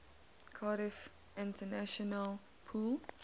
cardiff international pool